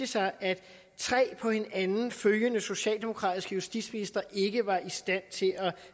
sig at tre på hinanden følgende socialdemokratiske justitsministre ikke var i stand til